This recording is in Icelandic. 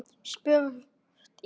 Spurt er?